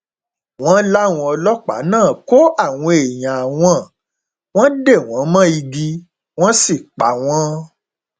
wọn láwọn ọlọpàá náà kó àwọn èèyàn àwọn wọn dè wọn mọ igi wọn sì pa wọn